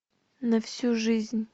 на всю жизнь